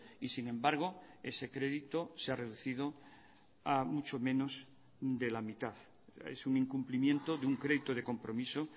y sin embargo ese crédito se ha reducido a mucho menos de la mitad es un incumplimiento de un crédito de compromiso